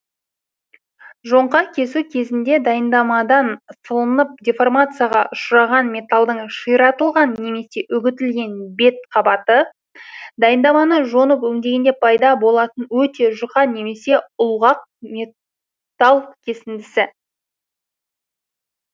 жоңқа кесу кезінде дайындамадан сылынып деформацияға ұшыраған металдың ширатылған немесе үгітілген бет қабаты дайындаманы жонып өңдегенде пайда болатын өте жұқа немесе ұлғақ метал кесіндісі